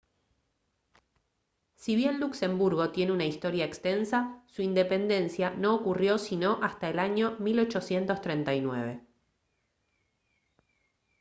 si bien luxemburgo tiene una historia extensa su independencia no ocurrió sino hasta el año 1839